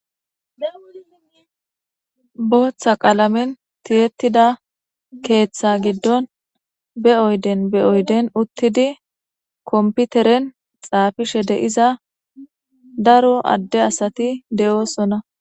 Booththa qaalamen tiyetida keeththa giddon be'oyden be oyden uttidi komputeren xaafishe de'iza daro adde asati de'oosona